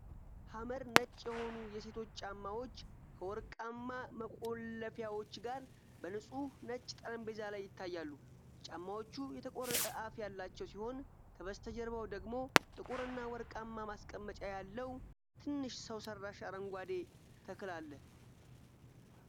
ሐመር ነጭ የሆኑ የሴቶች ጫማዎች፣ ከወርቃማ መቆለፊያዎች ጋር፣ በንጹሕ ነጭ ጠረጴዛ ላይ ይታያሉ። ጫማዎቹ የተቆረጠ አፍ ያላቸው ሲሆን ከበስተጀርባው ደግሞ ጥቁር እና ወርቃማ ማስቀመጫ ያለው ትንሽ ሰው ሰራሽ አረንጓዴ ተክል አለ።